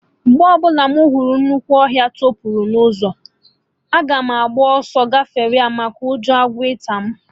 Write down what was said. Mgbe ọbụla mụ hụrụ nnukwu ọhịa toputara n'ụzọ, aga m agba ọsọ gafee maka ụjọ agwọ ịta mụ